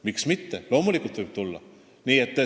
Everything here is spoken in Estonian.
Miks mitte, loomulikult võib tulla.